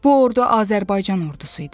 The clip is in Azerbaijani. Bu ordu Azərbaycan ordusu idi.